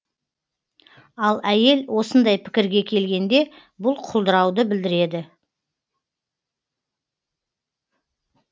ал әйел осындай пікірге келгенде бұл құлдырауды білдіреді